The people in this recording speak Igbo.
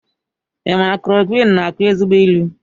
I ma na klorokwinụ na akụ ezigbo ilu?